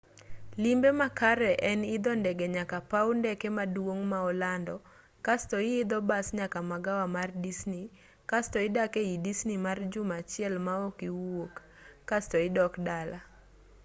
limbe makare en idho ndege nyaka paw ndeke maduong' ma olando kasto ihidho bas nyaka magawa mar disni kasto idak ei disni mar juma achiel maok iwuok kasto idok dala